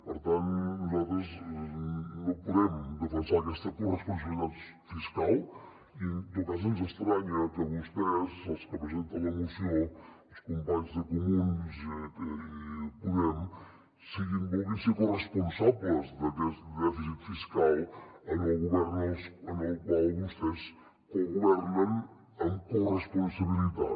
per tant nosaltres no podem defensar aquesta corresponsabilitat fiscal i en tot cas ens estranya que vostès els que presenten la moció els companys de comuns i podem vulguin ser corresponsables d’aquest dèficit fiscal en el govern en el qual vostès cogovernen amb corresponsabilitat